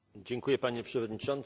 Panie Przewodniczący!